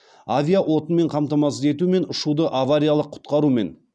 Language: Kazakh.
авиаотынмен қамтамасыз ету мен ұшуды авариялық құтқарумен